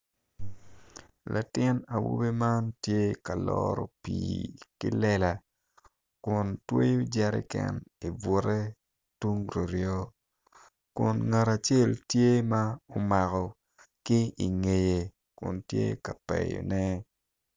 Latin awobi man tye ka loro pii ki lela kun tweyo jerikan i bute tun ryoryo kun ngat acel tye ma omako ki i ngeye kun tye ka peyone.